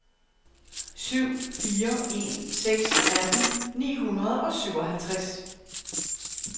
syv fire en seks atten ni hundrede og syvoghalvtreds